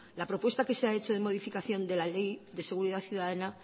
la propuesta que se ha hecho de modificación de la ley de seguridad ciudadana